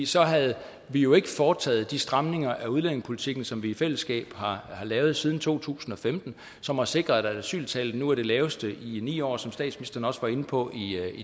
så havde vi jo ikke foretaget de stramninger af udlændingepolitikken som vi i fællesskab har lavet siden to tusind og femten og som har sikret at asyltallet nu er det laveste i ni år som statsministeren også var inde på i